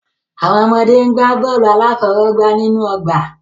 Àwọn ọmọdé ń gbá bọ́ọ̀lù aláfọwọ́gbá nínú ọgbà.